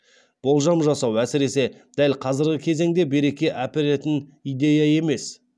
болжам жасау әсіресе дәл қазіргі кезеңде береке әперетін идея емес